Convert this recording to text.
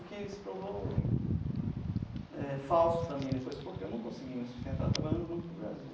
O que se provou eh falso também depois, porque eu não consegui me sustentar trabalhando no Banco do Brasil.